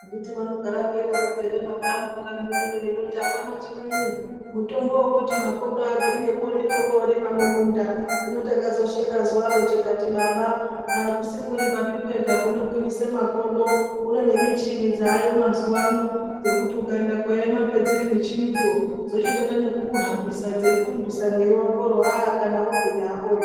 Anditi vanogara vechidaroko ere baba angu kanyi uno vachiti apana chimweni, mutombo wekuti makodo agwinye ndikokorima mumunda ,hino takazosheka zuwa ro tikati baba akusikurimapi kwenga kunogwinyise makodo kune nemichini dzaayo mazuwa ano dzekuti ukaenda koema padziri michinidzo dzochitoita nekukuhambisa nekukurumbisa mwiri wakowo aah! kani wogwinya hakozve.